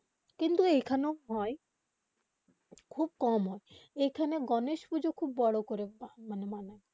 কিন্তু এখনো হয়ে খুব কম হয়ে এখানে গনেশ পুজো খুব বোরো করে হয়ে